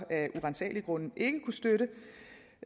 af uransagelige grunde ikke kunne støtte